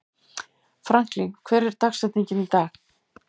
Franklin, hver er dagsetningin í dag?